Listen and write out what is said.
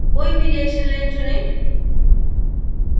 कोई भी reaction line चुनें